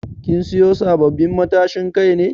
Kin siyo sabbabin matashin Kai ne?